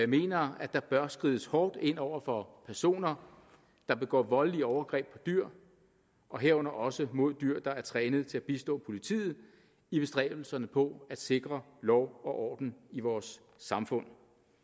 mener at der bør skrides hårdt ind over for personer der begår voldelige overgreb på dyr og herunder også mod dyr der er trænet til at bistå politiet i bestræbelserne på at sikre lov og orden i vores samfund